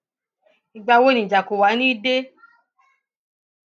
ìgbà wo ni ìjà kó wàá ní í dé